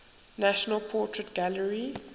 national portrait gallery